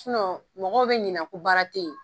mɔgɔw bɛ ɲinɛ ko baara tɛ yen.